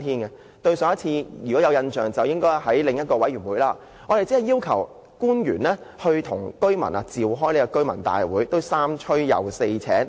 如果大家有印象的話，我們曾在另一個委員會要求官員與居民召開居民大會，但也要三催四請。